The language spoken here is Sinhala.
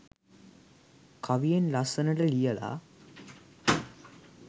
කවියෙන් ලස්සනට ලියලා